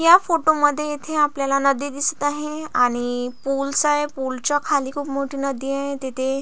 या फोटो मध्ये इथे आपल्याला नदी दिसत आहे आणि पुलस आहे पुलच्या खाली खुप मोठी नदी आहे तिथे --